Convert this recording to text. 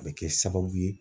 A bɛ kɛ sababu ye.